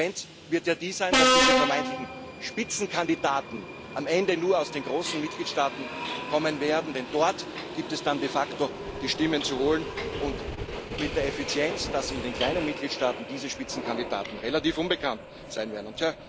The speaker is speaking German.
Die Konsequenz wird ja sein, dass diese vermeintlichen Spitzenkandidaten am Ende nur aus den großen Mitgliedstaaten kommen werden, denn dort gibt es dann de facto die Stimmen zu holen, mit der Folge, dass in den kleinen Mitgliedstaaten diese Spitzenkandidaten relativ unbekannt sein werden.